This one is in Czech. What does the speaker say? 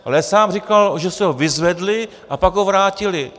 Ale sám říkal, že si ho vyzvedli a pak ho vrátili.